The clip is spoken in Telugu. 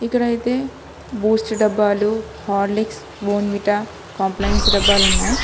ఇక్కడ అయితే బూస్ట్ డబ్బాలు హార్లిక్స్ బోన్విట కంప్లైంట్స్ డబ్బాలు ఉన్నాయి.